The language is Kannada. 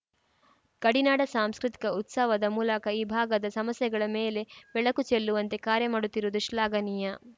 ಗಡಿನಾಡ ಸಾಂಸ್ಕೃತಿಕ ಉತ್ಸವದ ಮೂಲಕ ಈ ಭಾಗದ ಸಮಸ್ಯೆಗಳ ಮೇಲೆ ಬೆಳಕು ಚೆಲ್ಲುವಂತೆ ಕಾರ್ಯ ಮಾಡುತ್ತಿರುವುದು ಶ್ಲಾಘನೀಯ